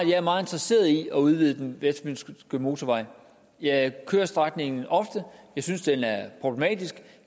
jeg er meget interesseret i at udvide den vestfynske motorvej jeg kører strækningen ofte jeg synes den er problematisk og